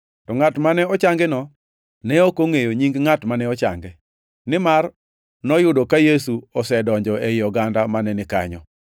To ngʼat mane ochangino ne ok ongʼeyo nying ngʼat mane ochange, nimar noyudo ka Yesu osedonjo ei oganda mane ni kanyo.